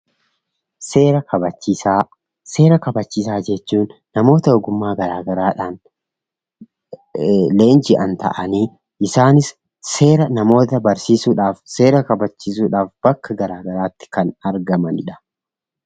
Seera kabachiisaa Seera kabachiisaa jechuun namoota ogummaa garaagaraadhaan leenji'an ta'anii isaanis seera namoota barsiisuudhaaf, seera kabachiisuudhaaf bakka garaagaraatti kan argamanidha.